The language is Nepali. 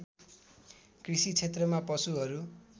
कृषि क्षेत्रमा पशुहरू